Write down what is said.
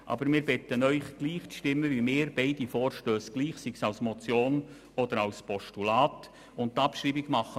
Aber wir bitten Sie, beide Vorstösse gleich, sei es als Motion oder als Postulat, gutzuheissen.